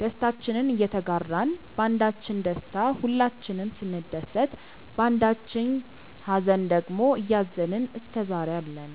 ደስታችንን እየተጋራን ባንዳችን ደስታ ሁላችንም ስንደሰት ባንዳችኝ ሃዘን ደግሞ እያዘንን እስከዛሬ አለን።